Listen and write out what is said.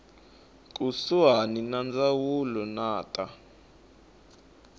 kusuhani ya ndzawulo ya ta